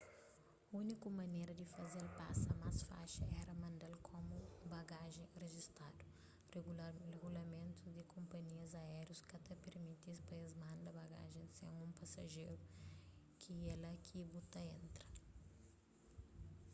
úniku manera di faze-l pasa más faxi éra manda-l komu bagajen rijistadu rigulamentus di konpanhias áerius ka ta permiti-s pa es manda bagajen sen un pasajeru ki é lá ki bu ta entra